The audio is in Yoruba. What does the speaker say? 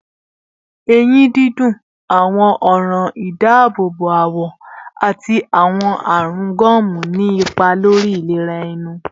Eyin dundun, awọn ọran idaabobo awọ, ati awọn arun gomu ni ipa lori ilera ẹnu